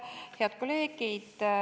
Head kolleegid!